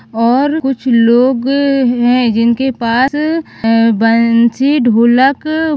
और कुछ लोग है जिनके पास अह बंसी ढोलक--